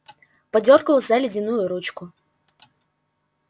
подёргал за ледяную ручку